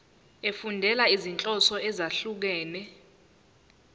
efundela izinhloso ezahlukehlukene